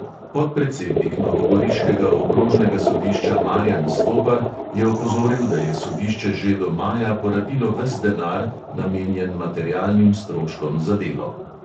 Podpredsednik novogoriškega okrožnega sodišča marjan stopar je opozoril, da je sodišče že do maja porabilo ves denar, namenjen materialnim stroškom za delo.